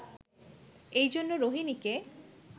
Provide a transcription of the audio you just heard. এই জন্য রোহিণীকে